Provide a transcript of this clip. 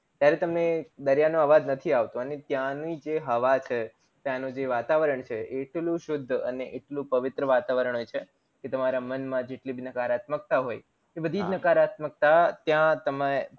ત્યારે તમને દરિયા નો અવાજ નથી આવતો અને ત્યાની જે હવા છે ત્યાં નો જે વાતાવરણ છે એટલું શુદ્ધ અને એટલું પવિત્ર વાતાવરણ હોય છે એ તમારા મન માં જેટલી નકારાત્મકતા હોય એ બધીજ નકારાત્મકતા ત્યાં તમે